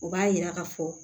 O b'a yira ka fɔ